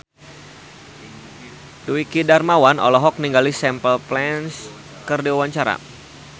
Dwiki Darmawan olohok ningali Simple Plan keur diwawancara